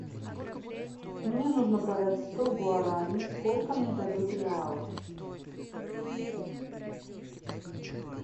мне нужно продать сто гуарани сколько мне дадут реалов